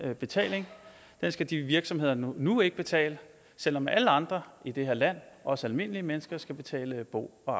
betaling skal de virksomheder nu nu ikke betale selv om alle andre i det her land os almindelige mennesker skal betale bo og